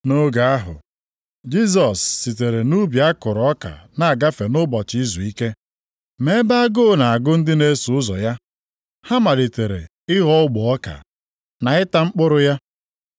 Nʼoge ahụ, Jisọs sitere nʼubi a kụrụ ọka na-agafe nʼụbọchị izuike. Ma ebe agụụ na-agụ ndị na-eso ụzọ ya, ha malitere ịghọ ogbe ọka, na ịta mkpụrụ ya.